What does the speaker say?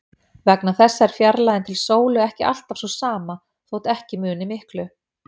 Vegna þessa er fjarlægðin til sólu ekki alltaf sú sama, þótt ekki muni miklu.